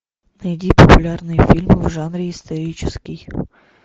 найди популярные фильмы в жанре исторический